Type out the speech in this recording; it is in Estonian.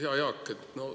Hea Jaak!